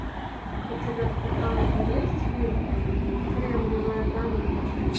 у тебя в каталоге есть фильм кремниевая долина